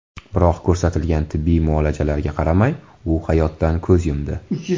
Biroq ko‘rsatilgan tibbiy muolajalarga qaramay, u hayotdan ko‘z yumdi.